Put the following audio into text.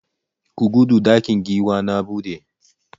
Ku gudu!ɗakin giwa na buɗe!